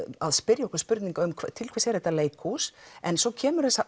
að spyrja okkur spurninga um til hvers er þetta leikhús en svo kemur